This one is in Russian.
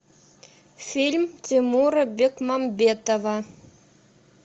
фильм тимура бекмамбетова